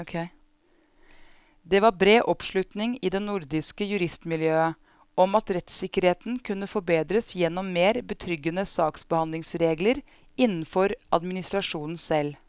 Det var bred oppslutning i det nordiske juristmiljøet om at rettssikkerheten kunne forbedres gjennom mer betryggende saksbehandlingsregler innenfor administrasjonen selv.